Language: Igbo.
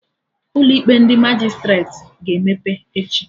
Ụlọ ikpe ndị Majistreti ga-emepe echi